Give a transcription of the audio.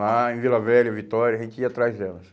Lá em Vila Velha, Vitória, a gente ia atrás delas.